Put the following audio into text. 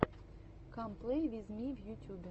кам плей виз ми в ютубе